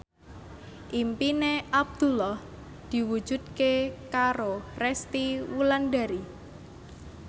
impine Abdullah diwujudke karo Resty Wulandari